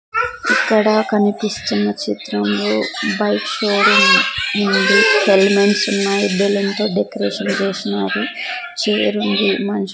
ఇక్కడ కనిపిస్తున్న చిత్రంలో బైక్ షోరూం ఉంది హెలిమెంట్స్ బెలూన్తో డెకరేషన్ చేసినారు చేరుంది మనిషి--